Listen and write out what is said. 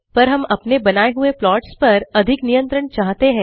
पर हम अपने बनाये हुए प्लॉट्स पर अधिक नियंत्रण चाहते हैं